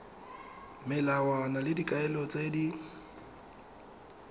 melawana le dikaelo tse di